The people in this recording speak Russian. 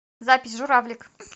запись журавлик